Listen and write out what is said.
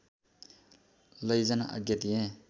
लैजान आज्ञा दिए